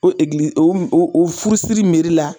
O egili o o o furusiri meri la